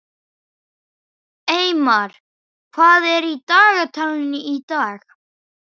Eymar, hvað er í dagatalinu í dag?